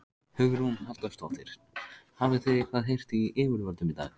Hugrún Halldórsdóttir: Hafið þið eitthvað heyrt í yfirvöldum í dag?